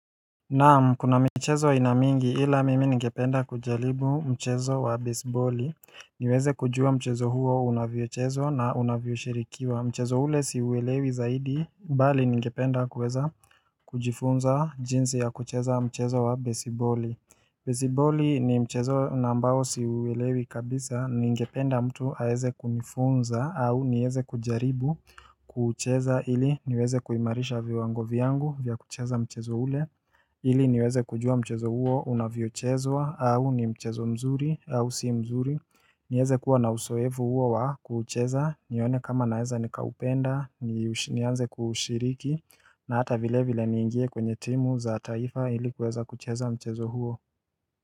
Naam kuna michezo aina mingi ila mimi ningependa kujaribu mchezo wa besiboli. Niweze kujua mchezo huo unavyochezwa na unavyo shirikiwa mchezo ule siuelewi zaidi mbali ngependa kuweza kujifunza jinzi ya kucheza mchezo wa besiboli basiboli ni mchezo na ambao siuelewi kabisa ningependa mtu aweze kunifunza au nieze kujaribu kuucheza ili niweze kuimarisha viwango vyangu vya kucheza mchezo ule ili niweze kujua mchezo huo unavyochezwa au ni mchezo mzuri au si mzuri nieze kuwa na usoevu huo wa kuucheza nione kama naeza ni kaupenda ni anze kushiriki na hata vile vile niingie kwenye timu za taifa ilikuweza kucheza mchezo huo.